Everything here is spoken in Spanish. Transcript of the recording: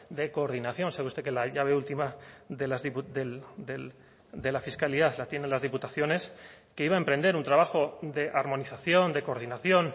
de coordinación sabe usted que la llave última de la fiscalidad la tienen las diputaciones que iba a emprender un trabajo de armonización de coordinación